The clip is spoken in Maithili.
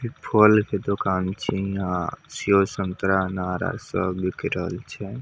इ फल के दोकान छीये हीया सेब संतरा अनार आर सब बिक रहल छै।